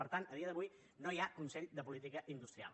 per tant a dia d’avui no hi ha consell de política industrial